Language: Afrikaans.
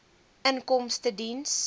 inkomstediens